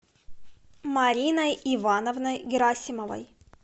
мариной ивановной герасимовой